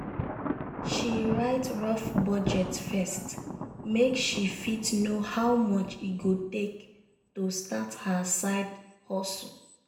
she write rough budget first make she fit know how much e go take to start her side hustle.